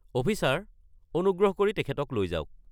Officer, অনুগ্ৰহ কৰি তেখেতক লৈ যাওক।